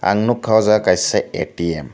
ang nugkha aw jaaga kaisa ATM.